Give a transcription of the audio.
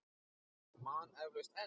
Og man eflaust enn.